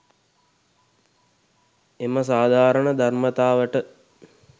එම සාධාරණ ධර්මතාවට